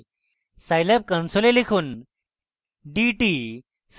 scilab console লিখুন: